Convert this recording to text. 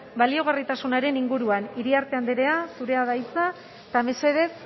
baliagarritasunaren inguruan iriarte okiñena andrea zurea da hitza eta mesedez